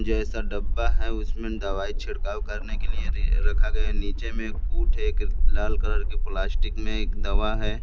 जैसा डब्बा है उसमें दवाई छिड़काव करने के लिए रे रखा गया नीचे में एक कूट है एक लाल कलर की प्लास्टिक में एक दवा है।